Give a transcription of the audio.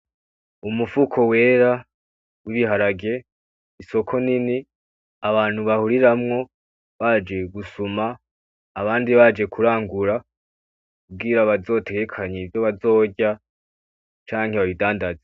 Umufuko wera, w'ibiharage, isoko nini abantu bahuriramwo baje gusuma, abandi baje kurangura kugira bazotegekanye ivyo bazorya canke babidandaze.